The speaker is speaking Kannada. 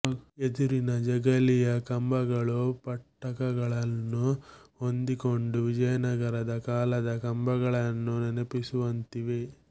ಎದುರಿನ ಜಗಲಿಯ ಕಂಬಗಳು ಪಟ್ಟಕಗಳನ್ನು ಹೊಂದಿಕೊಂಡು ವಿಜಯನಗರ ಕಾಲದ ಕಂಬಗಳನ್ನು ನೆನಪಿಸುವಂತಿವೆ